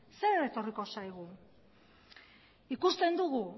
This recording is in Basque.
zer etorriko zaigu ikusten dugu